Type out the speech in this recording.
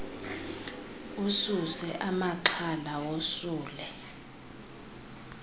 ususe amaxhala wosule